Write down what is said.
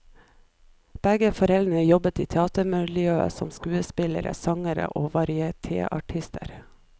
Begge foreldrene jobbet i teatermiljøet som skuespillere, sangere og varietèartister.